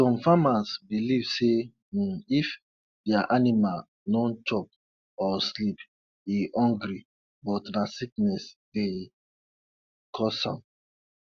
some farmers believe say um if their animal no chop or sleep e hungry but na sickness dey um cause am